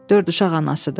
Dörd uşaq anasıdır.